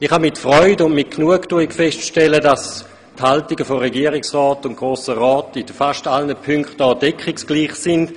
Ich kann mit Freude und Genugtuung feststellen, dass die Haltungen von Regierungsrat und Grossem Rat hier in fast allen Punkten deckungsgleich sind.